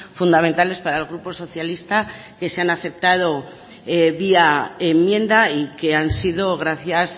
fundamentales para el grupo socialista que se han aceptado vía enmienda y que han sido gracias